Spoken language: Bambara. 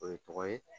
O ye tɔgɔ ye